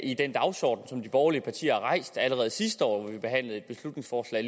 i den dagsorden som de borgerlige partier rejste allerede sidste år hvor vi behandlede et beslutningsforslag